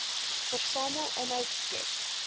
versamel inhoud skep